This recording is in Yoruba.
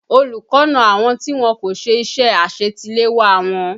Olùkọ́ na àwọn tí wọ́n kò ṣe iṣẹ́ àṣetiléwá wọn